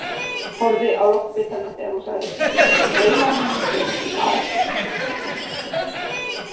Horfði á loftbitana þegar hún sagði: Draumar mínir gerast í Marokkó.